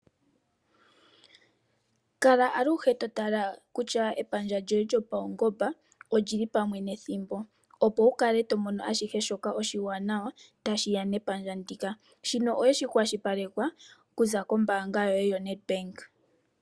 Kala aluhe totala kutya epandja lyoye lyopaungomba olili pamwe nethimbo opo wukale tomono ashihe shoka oshiwanawa tashiya mepandja ndika .shino oshakwashilipalekwa okuza kombaanga yoye yoNedbank.